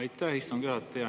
Aitäh, istungi juhataja!